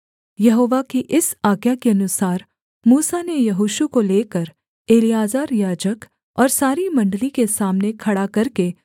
यहोवा की इस आज्ञा के अनुसार मूसा ने यहोशू को लेकर एलीआजर याजक और सारी मण्डली के सामने खड़ा करके